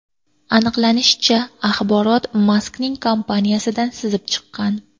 Aniqlanishicha, axborot Maskning kompaniyasidan sizib chiqqan.